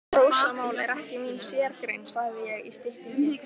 Rósamál er ekki mín sérgrein, sagði ég í styttingi.